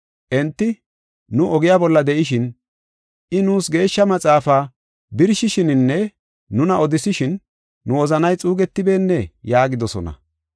Enti, “Nu ogiya bolla de7ishin I nuus Geeshsha Maxaafaa birshishininne nuna odisishin, nu wozanay xuugetibeennee?” yaagidosona.